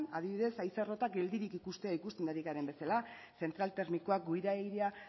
adibidez haize errotak geldirik ikustea ikusten ari garen bezala zentral termikoa gure airea